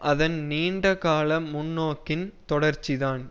அதன் நீண்ட கால முன்னோக்கின் தொடர்ச்சி தான்